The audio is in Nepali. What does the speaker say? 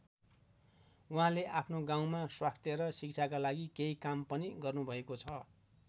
उहाँले आफ्नो गाउँमा स्वास्थ्य र शिक्षाका लागि केही काम पनि गर्नुभएको छ।